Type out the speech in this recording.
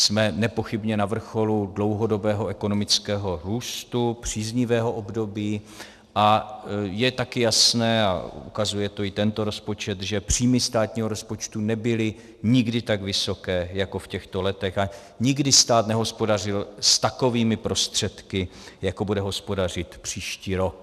Jsme nepochybně na vrcholu dlouhodobého ekonomického růstu, příznivého období a je také jasné, a ukazuje to i tento rozpočet, že příjmy státního rozpočtu nebyly nikdy tak vysoké jako v těchto letech a nikdy stát nehospodařil s takovými prostředky, jako bude hospodařit příští rok.